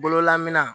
Bololaman